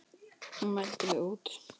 Hún mældi mig út.